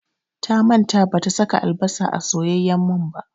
Ta manta bata saka albasa a soyayyen man ba